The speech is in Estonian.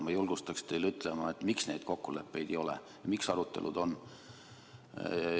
Ma julgustaksin teid ütlema, miks neid kokkuleppeid ei ole ja miks vaid arutelud on.